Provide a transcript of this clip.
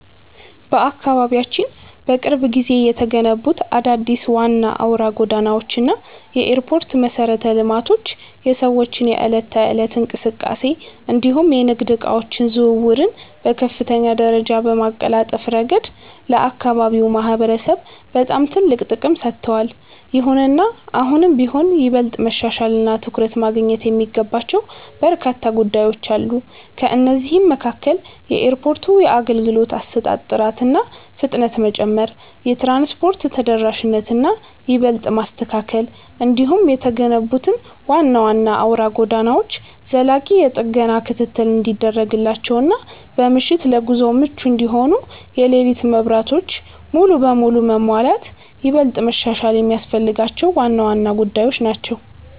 በአካባቢያችን በቅርብ ጊዜ የተገነቡት አዳዲስ ዋና አውራ ጎዳናዎች እና የኤርፖርት መሠረተ ልማቶች የሰዎችን የዕለት ተዕለት እንቅስቃሴ እንዲሁም የንግድ ዕቃዎች ዝውውርን በከፍተኛ ደረጃ በማቀላጠፍ ረገድ ለአካባቢው ማህበረሰብ በጣም ትልቅ ጥቅም ሰጥተዋል። ይሁንና አሁንም ቢሆን ይበልጥ መሻሻልና ትኩረት ማግኘት የሚገባቸው በርካታ ጉዳዮች አሉ። ከእነዚህም መካከል የኤርፖርቱ የአገልግሎት አሰጣጥ ጥራትና ፍጥነት መጨመር፣ የትራንስፖርት ተደራሽነትን ይበልጥ ማስተካከል፣ እንዲሁም የተገነቡት ዋና ዋና አውራ ጎዳናዎች ዘላቂ የጥገና ክትትል እንዲደረግላቸውና በምሽት ለጉዞ ምቹ እንዲሆኑ የሌሊት መብራቶች ሙሉ በሙሉ መሟላት ይበልጥ መሻሻል የሚያስፈልጋቸው ዋና ዋና ጉዳዮች ናቸው።